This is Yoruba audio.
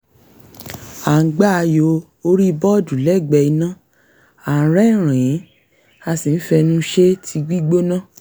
à ń gbá ayò orí bọ́ọ̀dù lẹ́gbẹ̀ẹ́ iná à ń rẹ́rìn-ín a sì ń fẹnu sẹ tíì gbígbóná